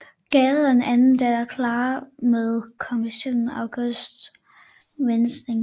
Gade og en anden datter Clara med komponisten August Winding